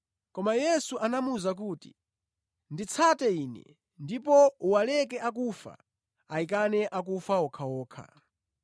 Koma Yesu anamuwuza kuti, “Nditsate Ine ndipo uwaleke akufa ayikane akufa okhaokha.”